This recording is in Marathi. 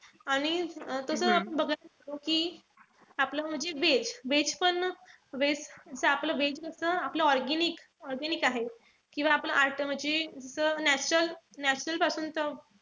आणि कस असतो कि आपलं म्हणजे veg. Veg पण veg च आपलं veg कस आपलं organic organic आहे. किंवा आपलं म्हणजे पासूनच म्हणजे ते natural पासूनच,